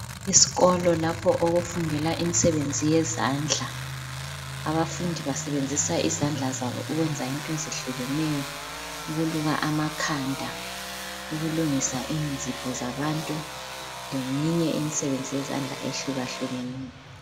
Isikolo lapho okufundela imisebenzi yezandla abafundi basebenzisa izandla zabo ukwenza izinto ezehlukeneyo ukuluka amakhanda, ukulungisa inzipho zabantu leminye imisebenzi yezandla ehlukahlukeneyo.